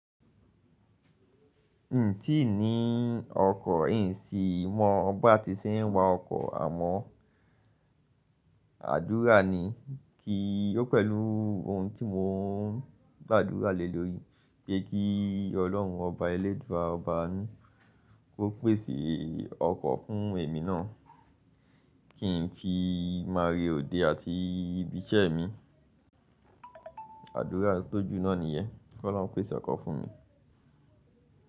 Ǹtí ní ọkọ̀, ǹṣí mọ ọ ba ti ṣẹ ń wa ọkọ̀, àmọ́ àdúrà ni, kí ó pẹ̀lú ohun tí mò ń gbàdúrà lé lórí, pé kí Ọlọ́run Ọba ẹlẹ́dùà ọba aanu, kó pèse ọkọ̀ fún èmi náà, kí ń fi máa re òde àti ibiṣẹ́ mi. Àdúrà tó jù náà nìyẹ́, kí Ọlọ́run pese ọkọ̀ fún mi.